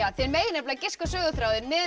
þið megið giska á söguþráðinn miðað við